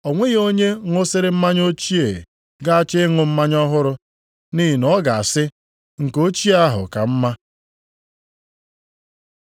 O nweghị onye ṅụsịrị mmanya ochie ga-achọ ịṅụ mmanya ọhụrụ, nʼihi na ọ ga-asị, ‘Nke ochie ahụ ka mma.’ ”